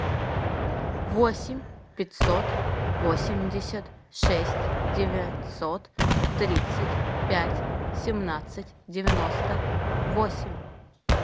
восемь пятьсот восемьдесят шесть девятьсот тридцать пять семнадцать девяносто восемь